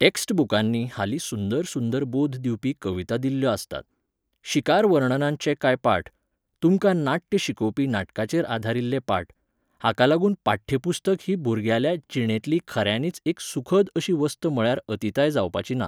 Text बुकांनी हालीं सुंदर सुंदर बोध दिवपी कविता दिल्ल्यो आसतात. शिकार वर्णनांतचे कांय पाठ, तुमकां नाट्य शिकोवपी नाटकाचेर आदारिल्ले पाठ, हाका लागून पाठ्य पुस्तक ही भुरग्याल्या जिणेंतली खऱ्यांनीच एक सुखद अशी वस्त म्हळ्यार अतिताय जावपाची ना